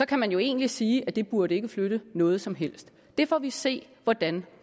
kan man jo egentlig sige at det ikke burde flytte noget som helst det får vi se hvordan